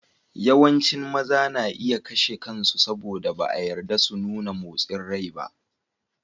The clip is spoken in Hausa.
Yawancin maza na iya kashe kansu saboda ba a yarda su nuna motsin rai ba.